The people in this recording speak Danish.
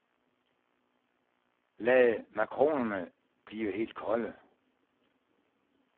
Lad makronerne blive helt kolde.